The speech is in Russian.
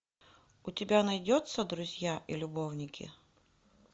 у тебя найдется друзья и любовники